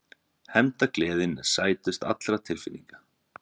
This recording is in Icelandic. Hefndargleðin er sætust allra tilfinninga.